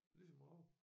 Ligesom rav